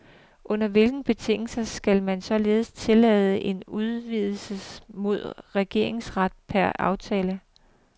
Under hvilke betingelser skal man således tillade en udvidet modregningsret per aftale?